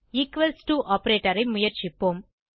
equals to operator ஐ முயற்சிப்போம்